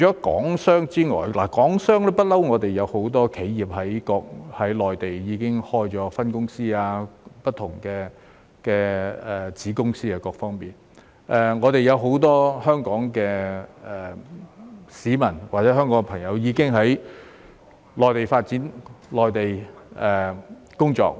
港商方面，一直以來也有很多香港企業在內地開設分公司或子公司，亦已有很多香港市民在內地發展和工作。